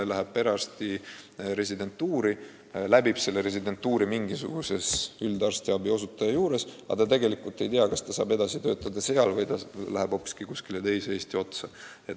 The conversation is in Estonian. Ta läheb perearsti residentuuri, läbib selle mingisuguse üldarstiabi osutaja juures, aga ta ei tea, kas ta saab edasi töötada seal või läheb hoopiski kuskile teise Eesti otsa.